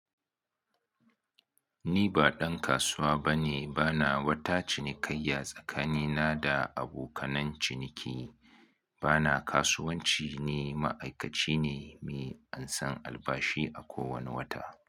Ni ba ɗan kasuwa bane, bana wata cinikayya tsakanina da abokanan ciniki. Bana kasuwanci, ni ma'aikaci ne me an san albashi a kowane wata.